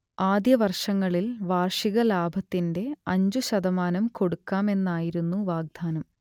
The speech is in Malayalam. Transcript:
ആദ്യവർഷങ്ങളിൽ വാർഷിക ലാഭത്തിന്റെ അഞ്ചു ശതമാനം കൊടുക്കാമെന്നായിരുന്നു വാഗ്ദാനം